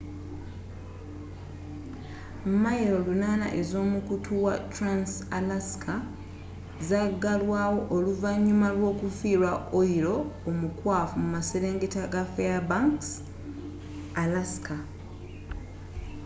milo 800 ez'omukutu wa trans-alaska zagalwaawo oluvanyuma lw'okufiirwa oyiro omukwafu mu maserengeta ga fairbanks alaska